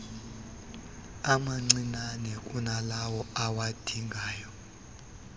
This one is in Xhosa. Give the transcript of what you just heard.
amancinnane kunalawo awadingayo